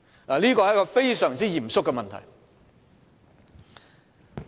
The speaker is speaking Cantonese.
這是一個非常嚴肅的問題。